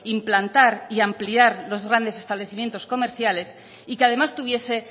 implantar y ampliar los grandes establecimientos comerciales y que además tuviese